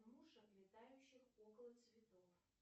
мушек летающих около цветов